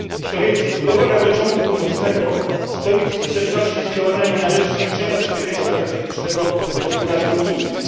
Co więcej, budowa Gazociągu Północnego stoi w sprzeczności z działaniami na rzecz zwiększenia bezpieczeństwa energetycznego gospodarki unijnej.